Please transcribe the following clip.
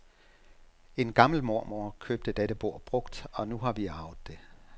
En gammel mormor købte dette bord brugt, og nu har vi arvet det.